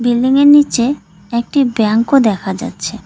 বিল্ডিংয়ের নীচে একটি ব্যাঙ্কও দেখা যাচ্ছে।